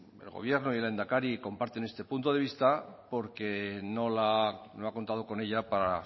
el gobierno y el lehendakari comparten este punto de vista porque no ha contado con ella para